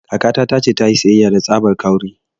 Kakata ta ce ta yi siyayya da tsabar 'kawri'